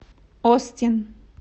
остин